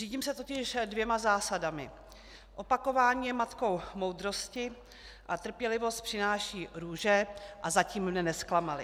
Řídím se totiž dvěma zásadami: opakování je matkou moudrosti a trpělivost přináší růže - a zatím mne nezklamaly.